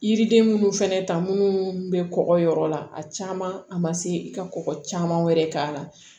Yiriden minnu fɛnɛ ta munnu bɛ kɔkɔ yɔrɔ la a caman a ma se i ka kɔkɔ caman wɛrɛ k'a la